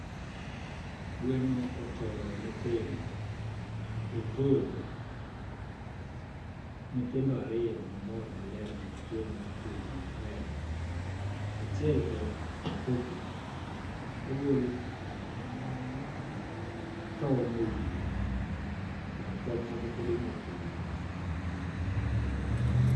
Gweno otoyo nyithindo, othodho nyithindo ariyo mamor ,maler machwe, mopugno maber. Achiel to pok ogol tong' ewiye. Bath tong' moko pod omoko e e wiye.